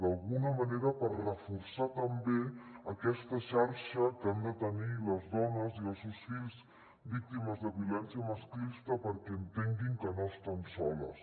d’alguna manera per reforçar també aquesta xarxa que han de tenir les dones i els seus fills víctimes de violència masclista perquè entenguin que no estan soles